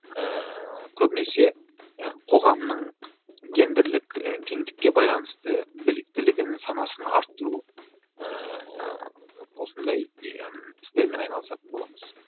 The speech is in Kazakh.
ыыы көбінесе ы қоғамның гендірлік і теңдікке байланысты біліктілігін санасын арттыру ыыы осындай не і істермен айналысатын боламыз